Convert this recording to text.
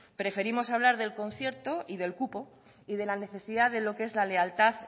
preferimos hablar del concierto y del cupo y de la necesidad de lo que es la lealtad